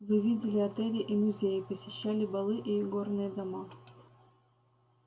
вы видели отели и музеи посещали балы и игорные дома